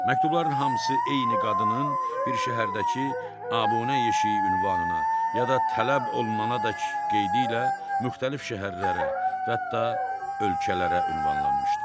Məktubların hamısı eyni qadının bir şəhərdəki abunə yeşiyi ünvanına ya da tələb olunana dək qeydi ilə müxtəlif şəhərlərə və hətta ölkələrə ünvanlanmışdı.